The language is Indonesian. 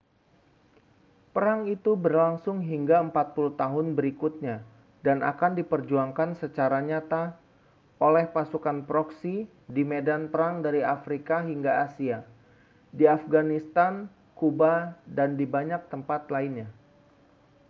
perang itu berlangsung hingga 40 tahun berikutnya dan akan diperjuangkan secara nyata oleh pasukan proksi di medan perang dari afrika hingga asia di afghanistan kuba dan di banyak tempat lainnya